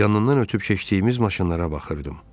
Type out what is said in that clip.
Yanından ötüb keçdiyimiz maşınlara baxırdım.